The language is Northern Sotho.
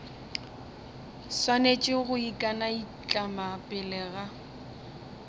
swanetše go ikanaitlama pele ga